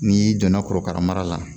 N'i donna korokara mara la